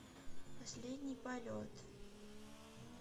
последний полет